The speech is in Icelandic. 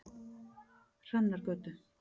Hrannargötu